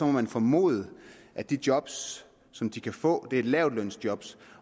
man formode at de job som de kan få er lavtlønsjob